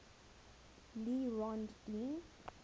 le rond d